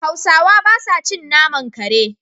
Hausawa ba sa cin naman kare.